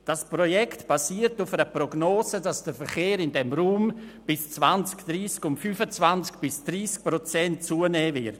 – Das Projekt basiert auf einer Prognose, der zufolge der Verkehr in diesem Raum bis 2030 um 25 bis 30 Prozent zunehmen wird.